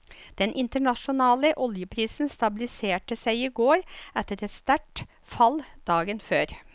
Den internasjonale oljeprisen stabiliserte seg i går etter et sterkt fall dagen før.